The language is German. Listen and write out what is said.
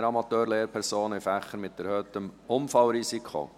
«Keine Amateur-Lehrpersonen in Fächern mit erhöhtem Unfallrisiko!».